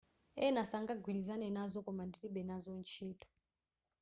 ena sangagwilizane nazo koma ndilibe nazo ntchito